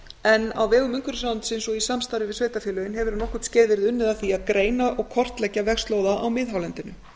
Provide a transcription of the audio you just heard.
en á vegum umhverfisráðuneytisins og í samstarfi við sveitarfélögin hefur um nokkurt skeið verið unnið að því að greina og kortleggja vegslóða á miðhálendinu